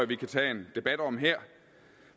vi kan tage en debat om her